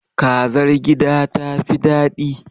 Kazar gida ta fi daɗi.